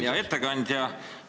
Hea ettekandja!